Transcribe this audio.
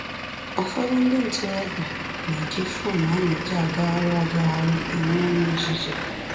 Ụfọdụ ndị ntorobịa na-eji fon a na-eji agagharị agagharị enwe ọnyi nzuzo